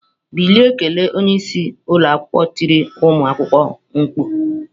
Bilie kelee! Onye isi ụlọ akwụkwọ tiri ụmụ akwụkwọ mkpu.